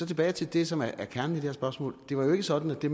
tilbage til det som er kernen i det her spørgsmål det var jo ikke sådan at det